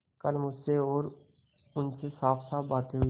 कल मुझसे और उनसे साफसाफ बातें हुई